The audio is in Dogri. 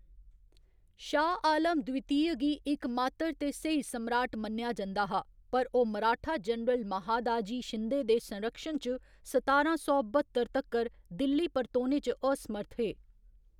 शाह आलम द्वितीय गी इकमात्तर ते स्हेई सम्राट मन्नेआ जंदा हा, पर ओह्‌‌ मराठा जनरल महादाजी शिंदे दे संरक्षण च सतारां सौ बह्‌त्तर तक्कर दिल्ली परतोने च असमर्थ हे।